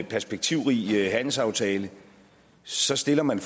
perspektivrig handelsaftale så stiller man